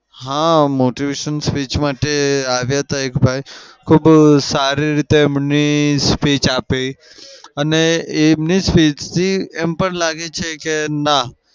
હા motivation speech માટે આવ્યા હતા એક ભાઈ. ખુબ સારી રીતે એમની speech આપી અને એમની speech થી એમ પણ લાગે છે કે ના